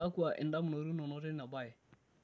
kakwa indamunot inono teina baye?